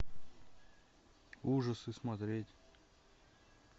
ужасы смотреть